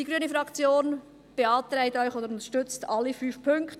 Die grüne Fraktion unterstützt alle fünf Punkte.